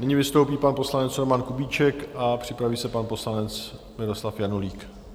Nyní vystoupí pan poslanec Roman Kubíček a připraví se pan poslanec Miloslav Janulík.